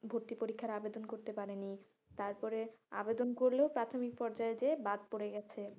ভর্তি পরীক্ষার আবেদন করতে পারেনি তারপরে আবেদন করলেও প্রাথমিক পর্যায় গিয়ে বাদ পরে গেছে।